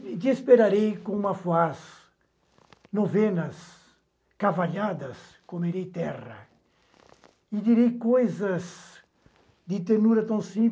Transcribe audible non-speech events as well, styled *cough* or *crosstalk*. Te esperarei com uma, *unintelligible* novenas, cavanhadas, comerei terra e direi coisas de ternura tão simples